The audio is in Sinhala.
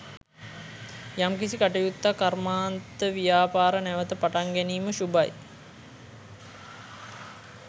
යම් කිසි කටයුත්තක් කර්මාන්තව්‍යාපාර නැවත පටන් ගැනීම ශුභයි